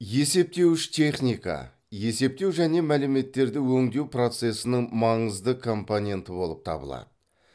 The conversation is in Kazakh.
есептеуіш техника есептеу және мәліметтерді өңдеу процессінің маңызды компоненті болып табылады